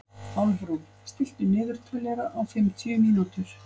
Álfrún, stilltu niðurteljara á fimmtíu mínútur.